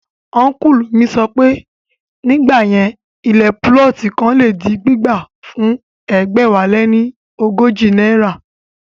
Ọ́nkùlù sọ pé, nígbà yẹn ilẹ̀ púlọ̀tì kan le di gbígbà fún ẹgbẹ̀wáléní ọgọ́jọ náírà